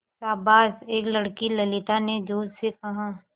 शाबाश एक लड़की ललिता ने जोश से कहा